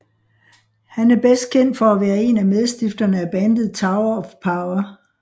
Han er bedst kendt for at være en af medstifterne af bandet Tower of Power